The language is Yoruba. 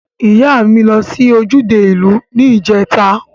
Iya mi lo si ojude iu ni ijeta.